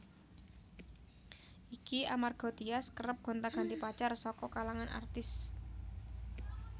Iki amarga Tyas kerep gonta ganti pacar saka kalangan artis